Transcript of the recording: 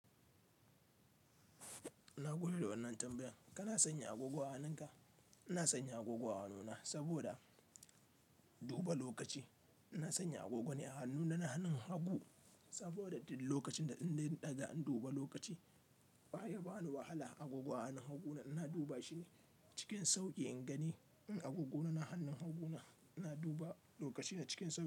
Nagode da wannan tambayan kana sanya agogo a hannunka? Ina sanya agogo a hannuna saboda duba lokaci. Ina sanya agogo ne a hannuna na hannun hagu saboda duk lokacin da in dai na ɗaga in duba lokaci baya bani wahala. Agogon a hannun haguna ina duba shi ne cikin sauƙi in gani. In agogona na hannun hagu na ina duba lokaci na cikin sauƙi.